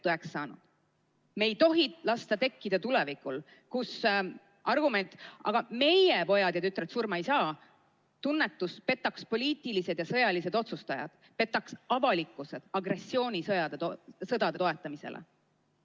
Me ei tohi lasta tekkida tulevikul, kus argument "aga meie pojad ja tütred surma ei saa" petaks ära poliitilised ja sõjalised otsustajad, petaks ära avalikkuse, nii et inimesed hakkaksid agressioonisõdasid toetama.